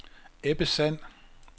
Ebbe Sand